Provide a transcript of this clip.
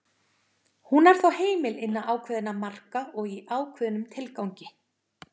hún er þó heimil innan ákveðinna marka og í ákveðnum tilgangi